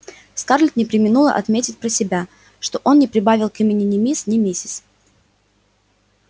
скарлетт не преминула отметить про себя что он не прибавил к имени ни мисс ни миссис